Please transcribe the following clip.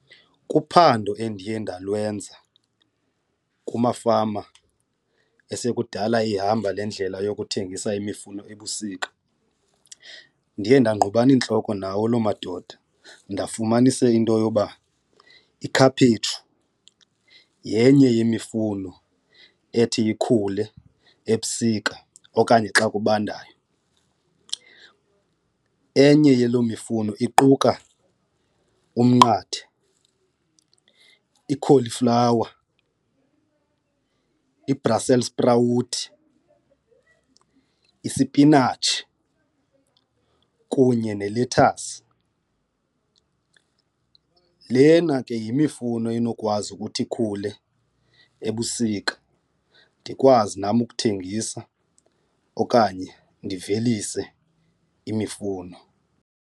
Kuphando endiye ndalwenza kumafama esekudala eyihamba le ndlela yokuthengisa imifuno ebusika ndiye ndangqubana iintloko nawo loo madoda ndafumanisa into yoba ikhaphetshu yenye yemifuno ethi ikhule ebusika okanye xa kubandayo. Enye yelo mifuno iquka umnqathe, i-cauliflower, ibhrasel sprawuti, isipinatshi kunye nelethasi. Lena ke yimifuno enokwazi ukuthi ikhule ebusika ndikwazi nam ukuthengisa okanye ndivelise imifuno.